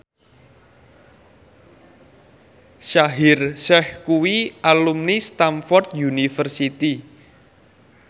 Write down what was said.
Shaheer Sheikh kuwi alumni Stamford University